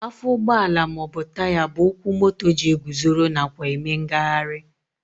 Afọ ụgbọala maọbụ Taya bụ ụkwụ moto ji eguzoro nakwa eme ngagharị